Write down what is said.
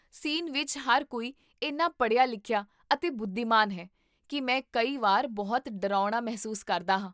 scene ਵਿੱਚ ਹਰ ਕੋਈ ਇੰਨਾ ਪੜ੍ਹਿਆ ਲਿਖਿਆ, ਅਤੇ ਬੁੱਧੀਮਾਨ ਹੈ, ਕਿ ਮੈਂ ਕਈ ਵਾਰ ਬਹੁਤ ਡਰਾਉਣਾ ਮਹਿਸੂਸ ਕਰਦਾ ਹਾਂ